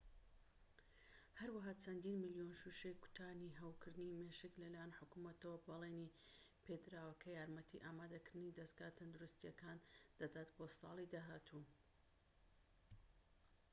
هەروەها چەندین ملیۆن شوشەی کوتانی هەوکردنی مێشک لەلایەن حکومەتەوە بەڵێنی پێدراوە کە یارمەتی ئامادەکردنی دەزگا تەندروستییەکان دەدات بۆ ساڵی داهاتوو